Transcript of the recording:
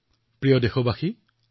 মোৰ মৰমৰ দেশবাসীসকল